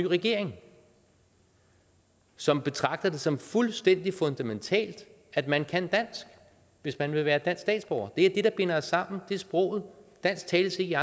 regering som betragter det som fuldstændig fundamentalt at man kan dansk hvis man vil være dansk statsborger det er det der binder os sammen det er sproget dansk tales ikke